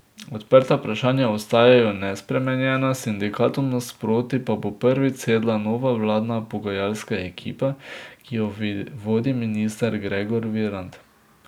Odprta vprašanja ostajajo nespremenjena, sindikatom nasproti pa bo prvič sedla nova vladna pogajalska ekipa, ki jo vodi minister Gregor Virant.